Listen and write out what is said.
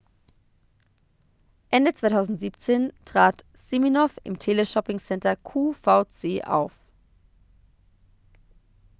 ende 2017 trat siminoff im teleshopping-sender qvc auf